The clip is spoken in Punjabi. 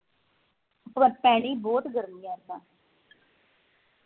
ਪਰ ਪੈਣੀ ਬਹੁਤ ਗਰਮੀ ਐਰਕਾ